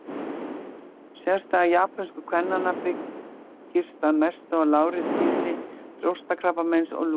Sérstaða japönsku kvennanna byggist að mestu á lágri tíðni brjóstakrabbameins og lungnakrabbameins.